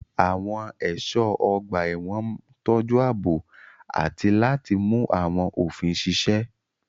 Àwọn ẹ̀ṣọ́ ọgbà ẹ̀wọ̀n ń tọ́jú ààbò àti láti mú àwọn òfin ṣiṣẹ́.